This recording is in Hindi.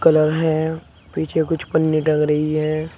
कलर है पीछे कुछ पन्नी टंग रही है।